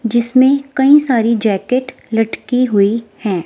जिसमें कई सारी जैकेट लटकी हुई हैं।